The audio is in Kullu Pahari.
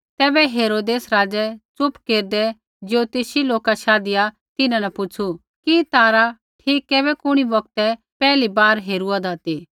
तैबै हेरोदेस राज़ै च़ुप केरदै ज्योतिषी लोका शाधिया तिन्हां न पुछ़ू कि तारा ठीक कैबै कुणी बौगतै पैहली बार हेरूआदा ती